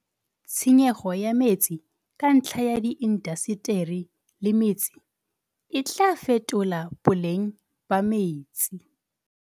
Tshenyego ya metsi ka ntlha ya di indaseteri le metse e tlaa fetola boleng ba metsi.